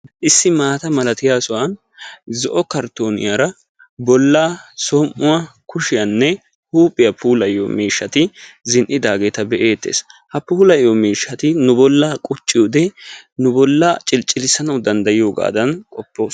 issi maata malattiya sohuwan zo'o kartooniyaara bolaa som'uwa kushiyaanne huuphiya miishshati zin'idaageeta be'eetees. ha puulayiyo miishshati nu bolaa qucciyoode nu bolaa cilicilisoosona.